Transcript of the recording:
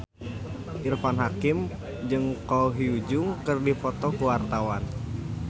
Irfan Hakim jeung Ko Hyun Jung keur dipoto ku wartawan